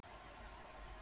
Lóa, hringdu í Beru.